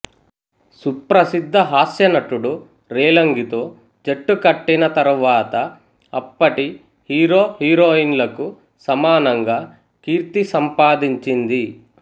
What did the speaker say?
సుప్రసిద్ద హాస్యనటుడు రేలంగితో జట్టుకట్టిన తర్వాత అప్పటి హీరోహీరోయిన్లకు సమానంగా కీర్తి సంపాదించింది